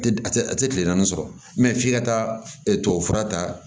A tɛ a tɛ a tɛ kile naani sɔrɔ mɛ f'i ka taa tubabufura ta